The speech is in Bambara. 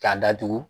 K'a datugu